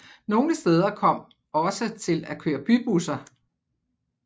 Nogle steder kom man også til at køre bybusser